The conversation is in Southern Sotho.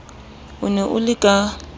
o ne o le ka